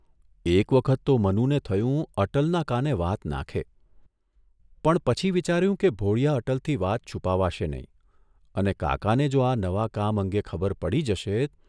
એક વખત તો મનુને થયું અટલના કાને વાત નાંખે, પણ પછી વિચાર્યુ કે ભોળીયા અટલથી વાત છુપાવાશે નહીં અને કાકાને જો આ નવા કામ અંગે ખબર પડી જશે